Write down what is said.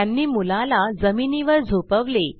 त्यांनी मुलाला जमिनीवर झोपवले